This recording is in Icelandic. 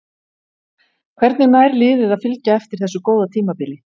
Hvernig nær liðið að fylgja eftir þessu góða tímabili?